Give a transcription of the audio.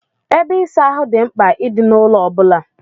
Ebe ịsa ahụ dị mkpa I di na ụlọ obula.